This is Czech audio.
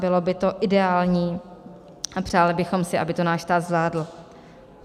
Bylo by to ideální a přáli bychom si, aby to náš stát zvládl.